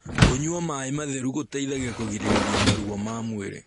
kũnyua maĩ matheru gũteithagia kũgirĩrĩrĩa maruo ma mwĩrĩ